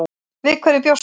Við hverju bjóstu?